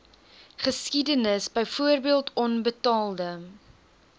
geskiedenis byvoorbeeld onbetaalde